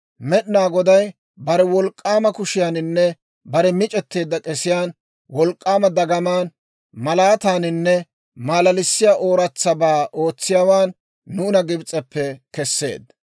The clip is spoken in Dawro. Med'inaa Goday bare wolk'k'aama kushiyaaninne bare mic'etteedda k'esiyaan, wolk'k'aama dagamaan, malaataaninne malalissiyaa ooratsabaa ootsiyaawaan, nuuna Gibs'eppe kesseedda.